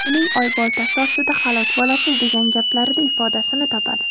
uning oyboltasi ostida halok bo‘lasiz degan gaplarida ifodasini topadi.